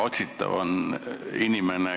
Küsisin eelmine aasta ka, aga küsin jälle.